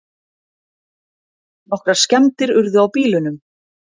Nokkrar skemmdir urðu á bílunum